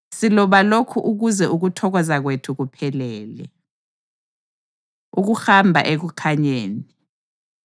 Siloba lokhu ukuze ukuthokoza kwethu kuphelele. Ukuhamba Ekukhanyeni